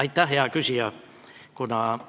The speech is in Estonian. Aitäh, hea küsija!